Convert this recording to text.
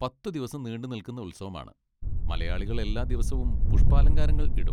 പത്തുദിവസം നീണ്ടുനിൽക്കുന്ന ഉത്സവമാണ്. മലയാളികൾ എല്ലാദിവസവും പുഷ്പാലങ്കാരങ്ങളൾ ഇടും.